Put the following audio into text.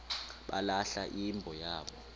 balahla imbo yabo